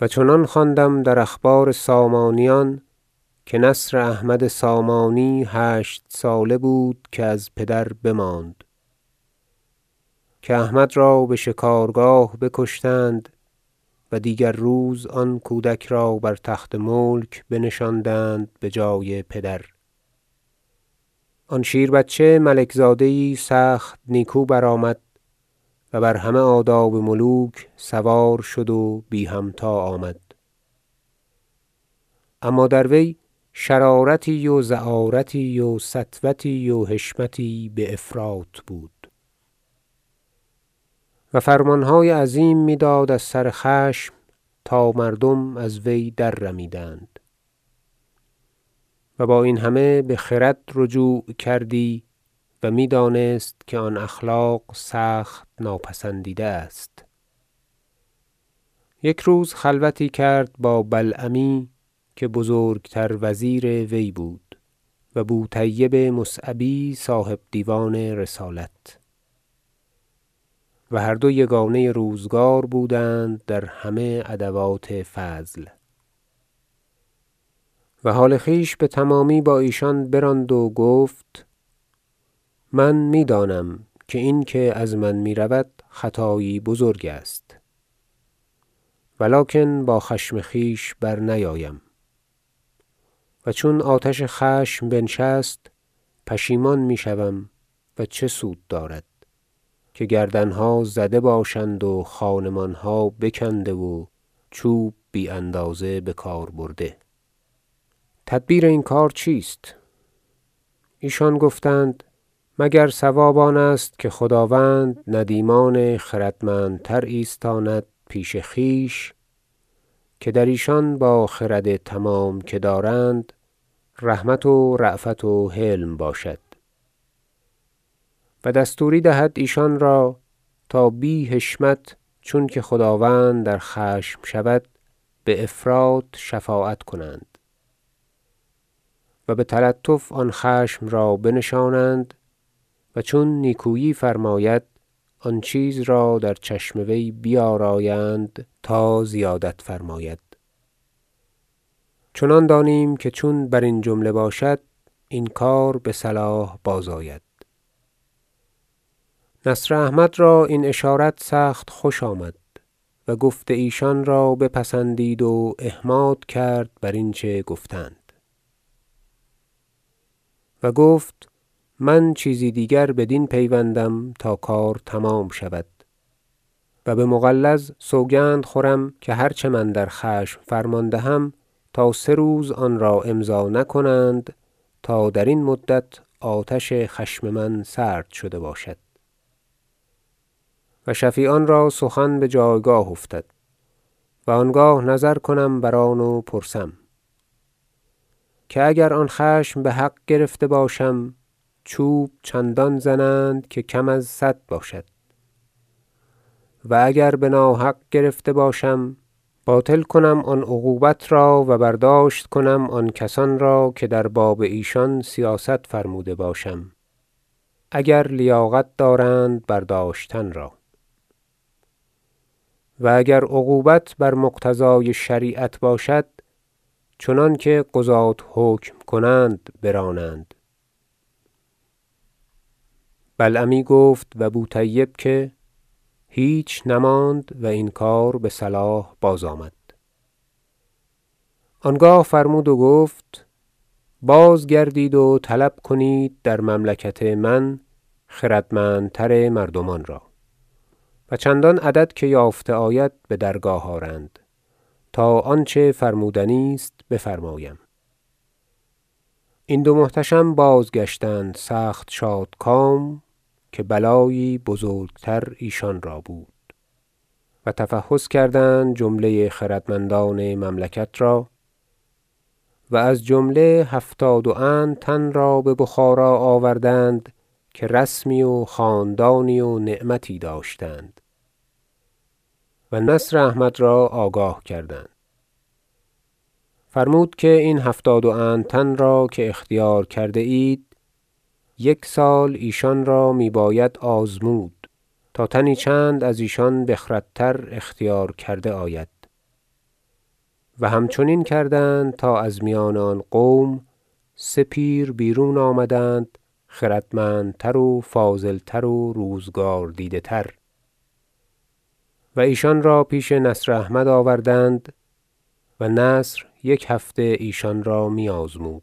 و چنان خواندم در اخبار سامانیان که نصر احمد سامانی هشت ساله بود که از پدر بماند که احمد را به شکارگاه بکشتند و دیگر روز آن کودک را بر تخت ملک بنشاندند بجای پدر آن شیربچه ملک زاده یی سخت نیکو برآمد و بر همه آداب ملوک سوار شد و بی همتا آمد اما در وی شرارتی و زعارتی و سطوتی و حشمتی به افراط بود و فرمان های عظیم می داد از سر خشم تا مردم از وی در رمیدند و با این همه به خرد رجوع کردی و می دانست که آن اخلاق سخت ناپسندیده است یک روز خلوتی کرد با بلعمی که بزرگ تر وزیر وی بود و بوطیب مصعبی صاحب دیوان رسالت- و هر دو یگانه روزگار بودند در همه ادوات فضل- و حال خویش به تمامی با ایشان براند و گفت من می دانم که این که از من می رود خطایی بزرگ است و لکن با خشم خویش برنیایم و چون آتش خشم بنشست پشیمان می شوم و چه سود دارد که گردن ها زده باشند و خانمان ها بکنده و چوب بی اندازه بکار برده تدبیر این کار چیست ایشان گفتند مگر صواب آنست که خداوند ندیمان خردمندتر ایستاند پیش خویش که در ایشان با خرد تمام که دارند رحمت و رأفت و حلم باشد و دستوری دهد ایشان را تا بی حشمت چون که خداوند در خشم شود به افراط شفاعت کنند و به تلطف آن خشم را بنشانند و چون نیکویی فرماید آن چیز را در چشم وی بیارایند تا زیادت فرماید چنان دانیم که چون برین جمله باشد این کار به صلاح بازآید نصر احمد را این اشارت سخت خوش آمد و گفت ایشان را بپسندید و احماد کرد برین چه گفتند و گفت من چیزی دیگر بدین پیوندم تا کار تمام شود و به مغلظ سوگند خورم که هر چه من در خشم فرمان دهم تا سه روز آن را امضا نکنند تا درین مدت آتش خشم من سرد شده باشد و شفیعان را سخن به جایگاه افتد و آنگاه نظر کنم بر آن و پرسم که اگر آن خشم به حق گرفته باشم چوب چندان زنند که کم از صد باشد و اگر به ناحق گرفته باشم باطل کنم آن عقوبت را و برداشت کنم آن کسان را که در باب ایشان سیاست فرموده باشم اگر لیاقت دارند برداشتن را و اگر عقوبت بر مقتضای شریعت باشد چنانکه قضاة حکم کنند برانند بلعمی گفت و بوطیب که هیچ نماند و این کار به صلاح بازآمد آنگاه فرمود و گفت بازگردید و طلب کنید در مملکت من خردمندتر مردمان را و چندان عدد که یافته آید به درگاه آرند تا آنچه فرمودنی است بفرمایم این دو محتشم بازگشتند سخت شادکام که بلایی بزرگتر ایشان را بود و تفحص کردند جمله خردمندان مملکت را و از جمله هفتاد و اند تن را به بخارا آوردند که رسمی و خاندانی و نعمتی داشتند و نصر احمد را آگاه کردند فرمود که این هفتاد و اند تن را که اختیار کرده اید یک سال ایشان را می باید آزمود تا تنی چند از ایشان بخرد تر اختیار کرده آید و همچنین کردند تا از میان آن قوم سه پیر بیرون آمدند خردمند تر و فاضل تر و روزگار دیده تر و ایشان را پیش نصر احمد آوردند و نصر یک هفته ایشان را می آزمود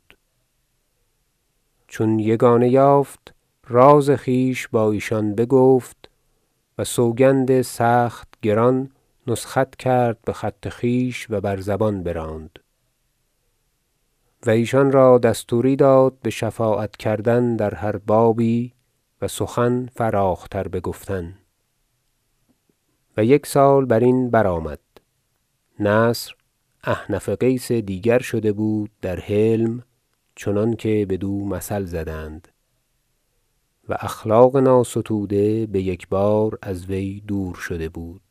چون یگانه یافت راز خویش با ایشان بگفت و سوگند سخت گران نسخت کرد به خط خویش و بر زبان براند و ایشان را دستوری داد به شفاعت کردن در هر بابی و سخن فراخ تر بگفتن و یک سال برین برآمد نصر احنف قیس دیگر شده بود در حلم چنانکه بدو مثل زدند و اخلاق ناستوده به یکبار از وی دور شده بود